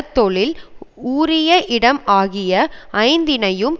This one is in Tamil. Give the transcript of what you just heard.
தொழில் உரிய இடம் ஆகிய ஐந்தினையும்